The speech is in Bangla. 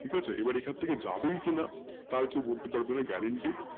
ঠিক আছে তোএখান থাকে যাবে কিনা তার কি কোনো বলবো garunted নেই